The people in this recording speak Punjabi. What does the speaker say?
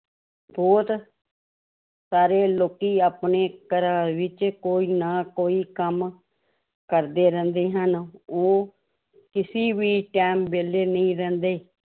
ਬਹੁਤ ਸਾਰੇ ਲੋਕੀ ਆਪਣੇ ਘਰਾਂ ਵਿੱਚ ਕੋਈ ਨਾ ਕੋਈ ਕੰਮ ਕਰਦੇ ਰਹਿੰਦੇ ਹਨ ਉਹ ਕਿਸੇ ਵੀ time ਵਿਹਲੇ ਨਹੀਂ ਰਹਿੰਦੇ